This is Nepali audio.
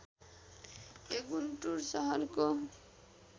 यो गुन्टुर शहरको